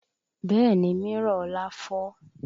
Bẹ́ẹ̀ni mírọ̀ ọlá fọ́